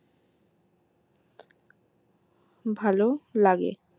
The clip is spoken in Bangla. ভালো লাগে